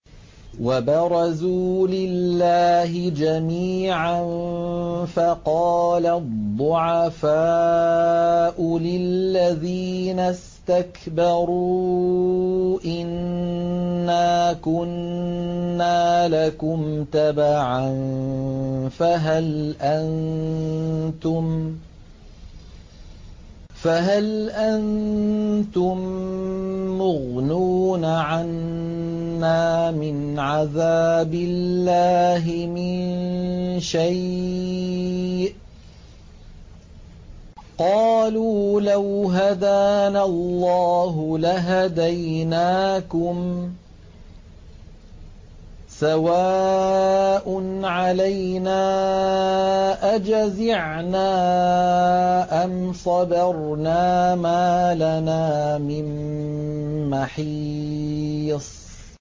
وَبَرَزُوا لِلَّهِ جَمِيعًا فَقَالَ الضُّعَفَاءُ لِلَّذِينَ اسْتَكْبَرُوا إِنَّا كُنَّا لَكُمْ تَبَعًا فَهَلْ أَنتُم مُّغْنُونَ عَنَّا مِنْ عَذَابِ اللَّهِ مِن شَيْءٍ ۚ قَالُوا لَوْ هَدَانَا اللَّهُ لَهَدَيْنَاكُمْ ۖ سَوَاءٌ عَلَيْنَا أَجَزِعْنَا أَمْ صَبَرْنَا مَا لَنَا مِن مَّحِيصٍ